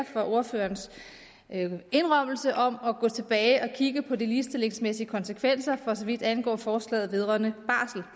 for ordførerens indrømmelse om at gå tilbage og kigge på de ligestillingsmæssige konsekvenser for så vidt angår forslaget vedrørende